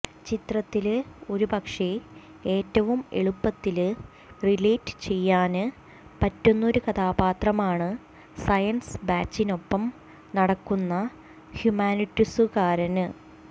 ചിത്രത്തില് ഒരുപക്ഷേ ഏറ്റവും എളുപ്പത്തില് റിലേറ്റ് ചെയ്യാന് പറ്റുന്നൊരു കഥാപാത്രമാണ് സയന്സ് ബാച്ചിനൊപ്പം നടക്കുന്ന ഹ്യൂമാനിറ്റിക്സുകാരന്